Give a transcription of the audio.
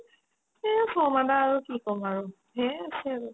এহ শৰ্মা দা আৰু কি কম আৰু থিকে আছে আৰু